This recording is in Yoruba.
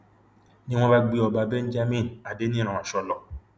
ni wọn bá gbé ọba benjamin adeniran ọshọ lọ